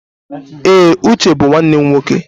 Ee, Uche bụ nwanne m nwoke.